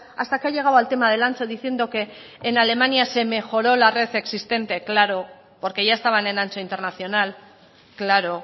hasta que ha llegado al tema del ancho diciendo que en alemania se mejoró la red existente claro porque ya estaban en ancho internacional claro